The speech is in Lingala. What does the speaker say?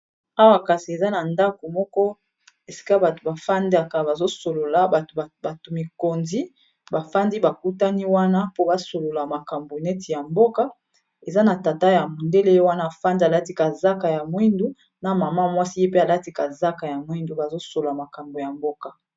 awa kasi eza na ndako moko esika bato bafandaka bazosolola o bato mikonzi bafandi bakutani wana po basolola makambo neti ya mboka eza na tata ya modele wana afandi alatika zaka ya mwindu na mama mwasi epe alatika zaka ya mwindu bazosolola makambo ya mboka